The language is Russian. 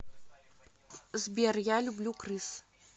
сбер я люблю крыс